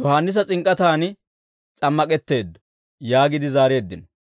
Yohaannisa s'ink'k'ataani s'ammak'etteeddo» yaagiide zaareeddino.